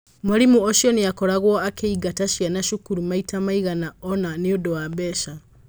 Mwarimũ ũcio nĩ aakoragwo akĩingata ciana cukuru maita maigana ũna nĩundu wa mbeca